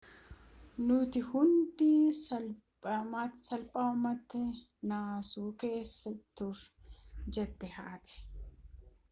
nuti hundi salphaamatti naasuu keessa turre jette haati